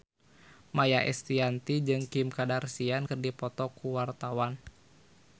Maia Estianty jeung Kim Kardashian keur dipoto ku wartawan